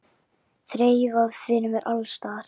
Þreifað fyrir mér alls staðar.